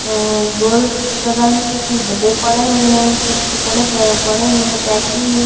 गोल तरंग के कुछ डब्बे पड़े हुए हैं कुछ कपड़े पड़े हुए हैं पैकिंग में।